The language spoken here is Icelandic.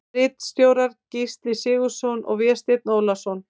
Ritstjórar Gísli Sigurðsson og Vésteinn Ólason.